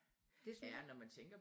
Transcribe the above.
Det synes jeg